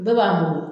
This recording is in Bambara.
Bɛɛ b'an bolo